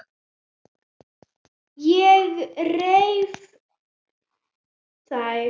Ég reif þær.